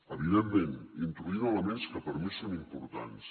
evidentment introduint elements que per a mi són importants